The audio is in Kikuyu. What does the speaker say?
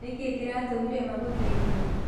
Nĩkĩ kĩratũmire magũteithie?